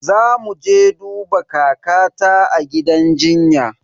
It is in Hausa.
Zamu je duba kakata a gidan jinya.